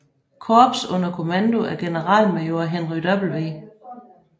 Korps under kommando af generalmajor Henry W